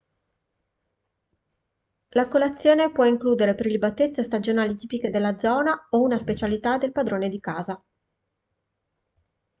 la colazione può includere prelibatezze stagionali tipiche della zona o una specialità del padrone di casa